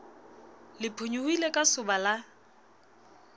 le phonyohile ka soba la